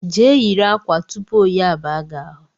Je yiri ákwà tupu oyi abaa gị ahụ